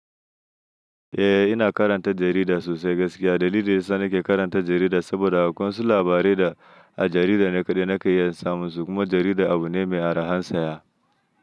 Eh, ina karanta jarida sosai gaskiya. Dalili dayi sa ni ke karanta jarida saboda akwai wasu labarai da a jarida ne kaɗai na kan iya samun su kuma jarida abu ne mai arhan saya.